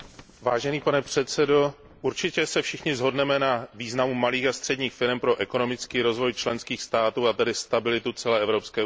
Pane předsedající, určitě se všichni shodneme na významu malých a středních podniků pro ekonomický rozvoj členských států, a tedy stabilitu celé Evropské unie.